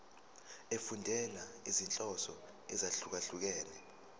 efundela izinhloso ezahlukehlukene